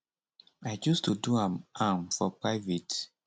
i choose to do am am for private